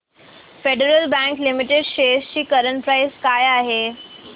federal Bank Limited shares ची current price काय आहे